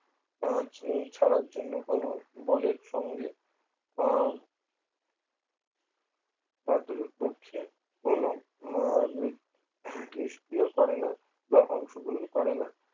আহ ছাড়ার জন্য কোন বলের সঙ্গে আহ কার্যত পক্ষে কোনো নিষ্ক্রিয় করে না বা অংশগ্রহণ করে না